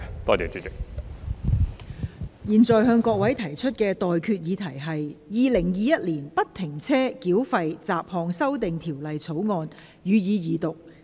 我現在向各位提出的待決議題是：《2021年不停車繳費條例草案》，予以二讀。